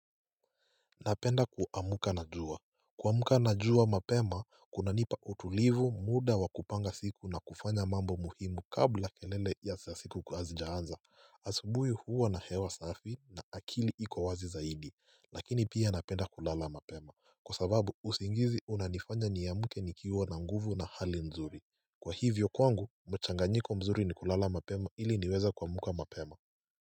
Napenda kuamka na jua. Kuamka na jua mapema kunanipa utulivu, muda wa kupanga siku na kufanya mambo muhimu kabla kelele ya siku kuwa hazijaanza asubuhi huwa na hewa safi na akili iko wazi zaidi, lakini pia napenda kulala mapema kwa sababu usingizi unanifanya niamke nikiwa na nguvu na hali mzuri. Kwa hivyo kwangu mchanganyiko mzuri ni kulala mapema ili niweza kuamka mapema.